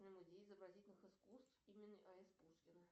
музей изобразительных искусств имени а с пушкина